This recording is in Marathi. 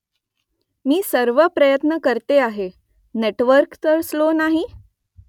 मी सर्व प्रयत्न करते आहे . नेटवर्क तर स्लो नाही ?